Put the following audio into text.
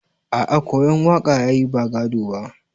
A a koyan waka yayi ba gado ba.